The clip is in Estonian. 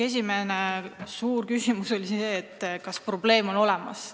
Esiteks oli suur küsimus, kas probleem on olemas.